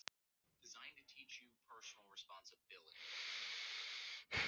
Ég yrði að lýsa því sem væri.